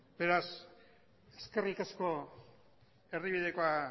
beraz eskerrik asko erdibidekoa